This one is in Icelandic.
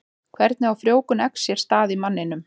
Hvernig á frjóvgun eggs sér stað í manninum?